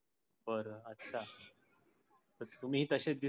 पर आता तुम्ही तश दिस्तात